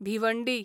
Bhiwandi